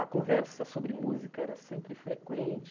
A conversa sobre música era sempre frequente.